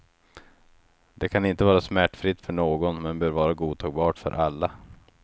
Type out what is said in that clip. Det kan inte vara smärtfritt för någon men bör vara godtagbart för alla.